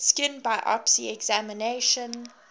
skin biopsy examination